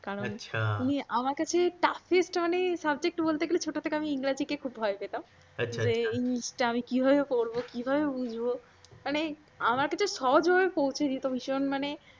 কারণ উনি আমার কাছে toughest মানে subject বলতে গেলে ছোট থেকে আমি ইংরাজিকে খুব ভয় পেতাম। আচ্ছা আচ্ছা। যে আমি কিভাবে পড়ব কিভাবে বুঝবমানে আমার কাছে সহজ ভেব পৌঁছে দিত ভীষণ মানে